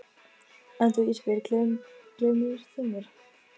En þú Ísbjörg, gleymir þú mér?